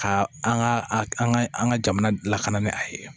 Ka an ka an ka an ka jamana lakana ni a ye